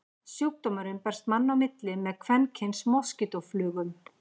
Sjúkdómurinn berst manna á milli með kvenkyns moskítóflugum.